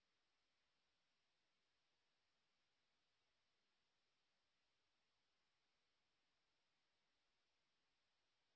এটি ভারত সরকারের আইসিটি মাহর্দ এর ন্যাশনাল মিশন ওন এডুকেশন দ্বারা সমর্থিত